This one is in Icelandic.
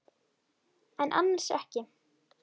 En annars ekki.